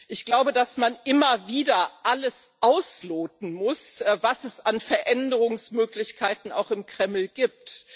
Ich glaube, dass man immer wieder alles ausloten muss, was es an Veränderungsmöglichkeiten auch im Kreml gibt.